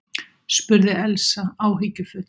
spurði Elsa áhyggjufull.